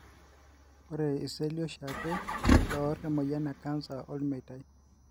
Ore iseli oshiake loor emoyian ecanser olmeita.